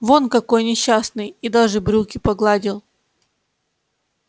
вон какой несчастный и даже брюки погладил